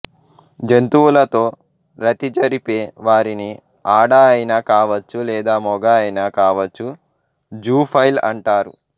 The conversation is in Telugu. జంతువులతో రతి జరిపే వారిని ఆడ అయినా కావచ్చు లేదా మొగ అయినా కావచ్చు జూఫైల్ అంటారు